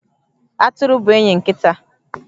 Atụrụ bụ enyi nkịta.